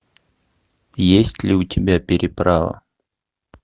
есть ли у тебя переправа